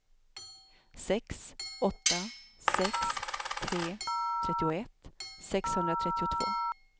sex åtta sex tre trettioett sexhundratrettiotvå